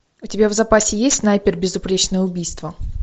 у тебя в запасе есть снайпер безупречное убийство